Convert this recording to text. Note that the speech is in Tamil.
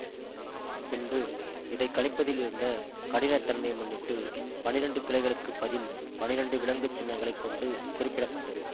பின்பு இதை கணிப்பதில் இருந்த கடினத் தன்மையை முன்னிட்டு பன்னிரெண்டு கிளைகளுக்கு பதில் பன்னிரெண்டு விலங்கு சின்னங்களைக் கொண்டு குறிப்பிட பட்டது